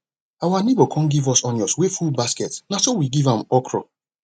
our neighbor come give us onions wey full basket na so so we give am okra